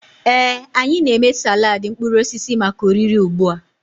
Ee, anyị na-eme salad mkpụrụ osisi maka oriri ugbu a.